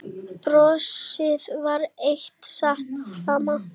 Brosið var enn það sama.